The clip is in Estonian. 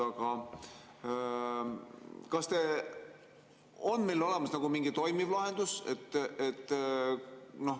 Aga kas on meil olemas mingi toimiv lahendus?